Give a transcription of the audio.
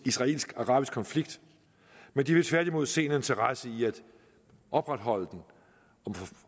israelsk arabiske konflikt men de vil tværtimod se en interesse i at opretholde den